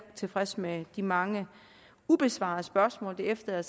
tilfreds med de mange ubesvarede spørgsmål det efterlader